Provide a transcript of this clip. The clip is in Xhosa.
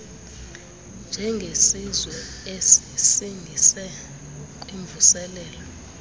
njengesizwe esisingise kwimvuselelo